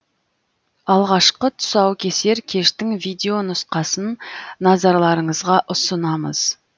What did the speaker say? алғашқы тұсаукесер кештің видеонұсқасын назарларыңызға ұсынамыз